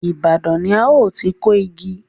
Ibadan ni a ó ti kó igi